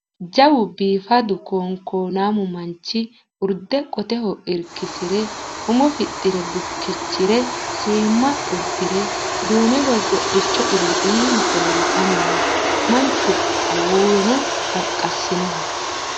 Jawu biifadu koonkoonamu manchi urde qoteho irkisire umo fixxire bukkichire seemma uddire duume borbodhicho ille iima qole la"anni no. Mancho awuuweno qaqqassinoho.